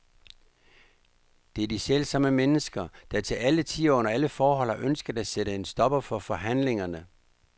Det er de selvsamme mennesker, der til alle tider og under alle forhold har ønsket at sætte en stopper for forhandlingerne.